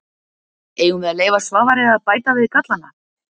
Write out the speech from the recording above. Eigum við að leyfa Svavari að bæta við gallana?